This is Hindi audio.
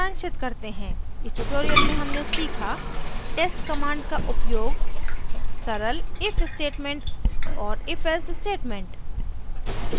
इस tutorial में हमने सीखा test command का उपयोग सरल if statement और if else statement